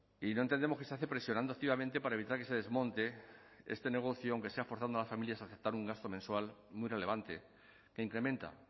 y no entendemos que se hace presionando activamente para evitar que se desmonte este negocio aunque sea forzando a las familias a aceptar un gasto mensual muy relevante que incrementa